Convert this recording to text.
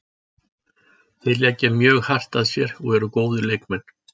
Þeir leggja mjög hart að sér og eru góðir leikmenn.